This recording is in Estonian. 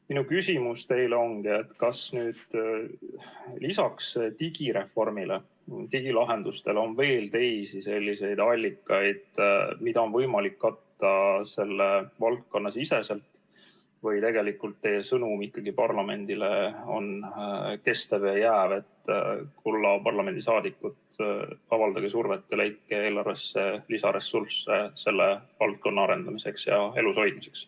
Minu küsimus teile ongi, kas lisaks digireformile ja digilahendustele on veel teisi selliseid allikaid, mida on võimalik katta selle valdkonna siseselt, või tegelikult teie sõnum ikkagi parlamendile on kestev ja jääv, et, kulla parlamendisaadikud, avaldage survet ja leidke eelarvesse lisaressursse selle valdkonna arendamiseks ja elushoidmiseks.